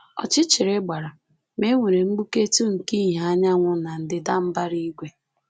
Ọchịchịrị gbara, ma e nwere mgbuketụ nke ìhè anyanwụ na ndịda mbara igwe.